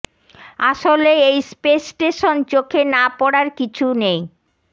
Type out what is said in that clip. আসলে এই space station চোখে না পড়ার কিছু নেই